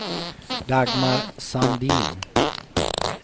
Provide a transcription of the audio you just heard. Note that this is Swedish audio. Dagmar Sandin